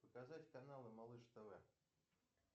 показать каналы малыш тв